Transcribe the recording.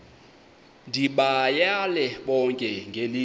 ndibayale bonke ngelithi